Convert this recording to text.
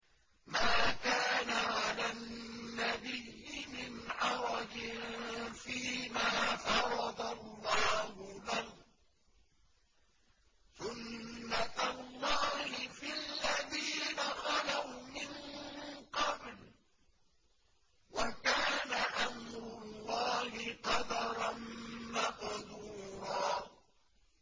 مَّا كَانَ عَلَى النَّبِيِّ مِنْ حَرَجٍ فِيمَا فَرَضَ اللَّهُ لَهُ ۖ سُنَّةَ اللَّهِ فِي الَّذِينَ خَلَوْا مِن قَبْلُ ۚ وَكَانَ أَمْرُ اللَّهِ قَدَرًا مَّقْدُورًا